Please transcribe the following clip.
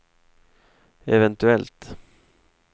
eventuellt